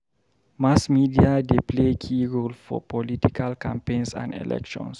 Mass media dey play key role for political campaigns and elections.